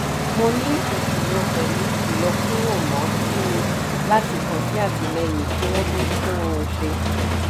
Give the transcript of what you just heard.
mo ní ìṣòro pẹ̀lú ìyọkuromo sì ní láti kàn sí àtìlẹ́yìn kí wọ́n tó tún un ṣe.